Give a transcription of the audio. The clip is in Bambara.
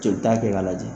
Jolita kɛ ka lajɛ